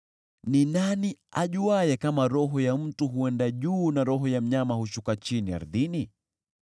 Ni nani ajuaye kama roho ya mtu huenda juu na roho ya mnyama hushuka chini ardhini?”